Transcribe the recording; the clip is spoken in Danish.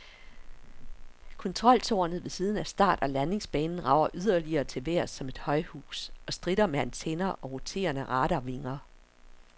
Kontroltårnet ved siden af start- og landingsbanen rager yderligere til vejrs som et højhus, og stritter med antenner og roterende radarvinger.